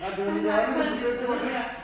Ej det var noget andet med de der gulv ik